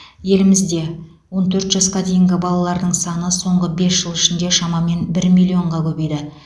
елімізде он төрт жасқа дейінгі балалардың саны соңғы бес жыл ішінде шамамен бір миллионға көбейді